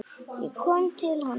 Ég kom til hans.